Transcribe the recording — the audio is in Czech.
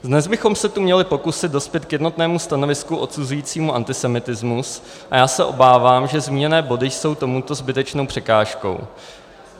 Dnes bychom se tu měli pokusit dospět k jednotnému stanovisku odsuzujícímu antisemitismus a já se obávám, že zmíněné body jsou tomuto zbytečnou překážkou.